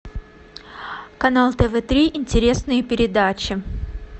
канал тв три интересные передачи